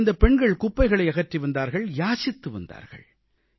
நமது இந்தப் பெண்கள் குப்பைகளை அகற்றி வந்தார்கள் யாசித்து வந்தார்கள்